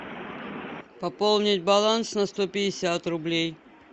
пополнить баланс на сто пятьдесят рублей